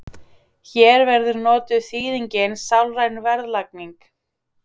Hér verður notuð þýðingin sálræn verðlagning.